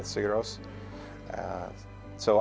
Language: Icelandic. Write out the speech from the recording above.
sigur rós stóð